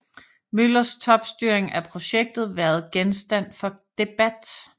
Møllers topstyring af projektet været genstand for debat